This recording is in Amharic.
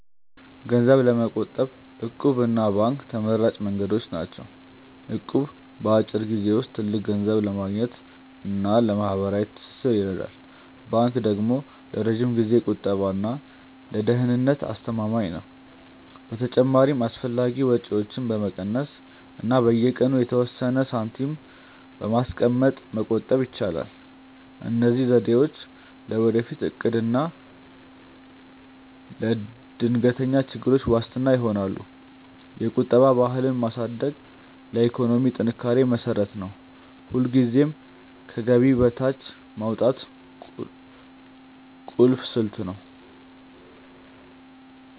ገንዘብ ለመቆጠብ 'እቁብ' እና ባንክ ተመራጭ መንገዶች ናቸው። እቁብ በአጭር ጊዜ ውስጥ ትልቅ ገንዘብ ለማግኘት እና ለማህበራዊ ትስስር ይረዳል። ባንክ ደግሞ ለረጅም ጊዜ ቁጠባ እና ለደህንነት አስተማማኝ ነው። በተጨማሪም አላስፈላጊ ወጪዎችን በመቀነስ እና በየቀኑ የተወሰነ ሳንቲም በማስቀመጥ መቆጠብ ይቻላል። እነዚህ ዘዴዎች ለወደፊት እቅድ እና ለድንገተኛ ችግሮች ዋስትና ይሆናሉ። የቁጠባ ባህልን ማሳደግ ለኢኮኖሚ ጥንካሬ መሰረት ነው። ሁልጊዜም ከገቢ በታች ማውጣት ቁልፍ ስልት ነው።